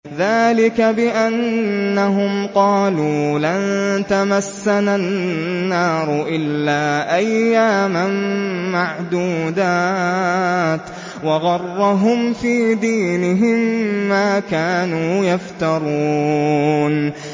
ذَٰلِكَ بِأَنَّهُمْ قَالُوا لَن تَمَسَّنَا النَّارُ إِلَّا أَيَّامًا مَّعْدُودَاتٍ ۖ وَغَرَّهُمْ فِي دِينِهِم مَّا كَانُوا يَفْتَرُونَ